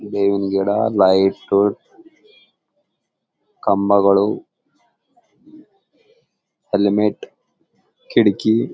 ಬೇವಿನ ಗಿಡ ಲೈಟು ಕಂಬಗಳು ಹೆಲ್ಮೇಟ್ ಕಿಡಕಿ--